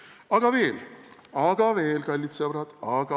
Aga veel, aga veel, kallid sõbrad!